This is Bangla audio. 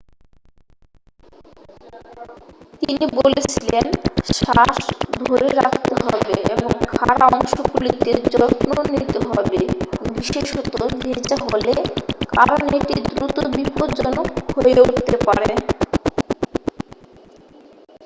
তিনি বলেছিলেন শ্বাস ধরে রাখতে হবে এবং খাঁড়া অংশগুলিতে যত্ন নিতে হবে বিশেষত ভেজা হলে কারণ এটি দ্রুত বিপজ্জনক হয়ে উঠতে পারে